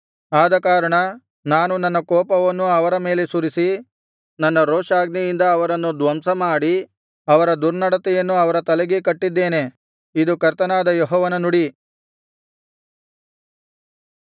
ಆದಕಾರಣ ನಾನು ನನ್ನ ಕೋಪವನ್ನು ಅವರ ಮೇಲೆ ಸುರಿಸಿ ನನ್ನ ರೋಷಾಗ್ನಿಯಿಂದ ಅವರನ್ನು ಧ್ವಂಸ ಮಾಡಿ ಅವರ ದುರ್ನಡತೆಯನ್ನು ಅವರ ತಲೆಗೇ ಕಟ್ಟಿದ್ದೇನೆ ಇದು ಕರ್ತನಾದ ಯೆಹೋವನ ನುಡಿ